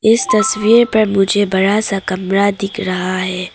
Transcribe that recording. इस तस्वीर पर मुझे बड़ा सा कमरा दिख रहा है।